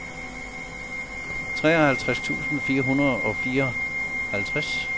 treoghalvtreds tusind fire hundrede og fireoghalvtreds